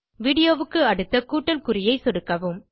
Videoக்கு அடுத்த கூட்டல் குறியை சொடுக்கவும்